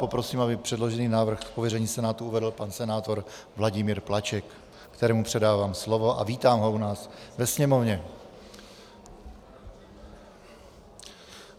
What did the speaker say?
Poprosím, aby předložený návrh z pověření Senátu uvedl pan senátor Vladimír Plaček, kterému předávám slovo a vítám ho u nás ve Sněmovně.